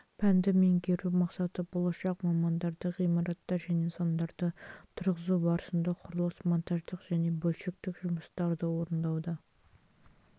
пәнді меңгеру мақсаты болашақ мамандарды ғимараттар және нысандарды тұрғызу барысында құрылыс монтаждық және бөлшектік жұмыстарды орындауда